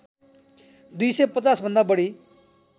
२५० भन्दा बढी